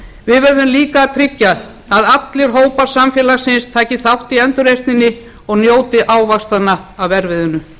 við verðum líka að tryggja að allir hópar samfélagsins taki þátt í endurreisninni og njóti ávaxtanna af erfiðinu konur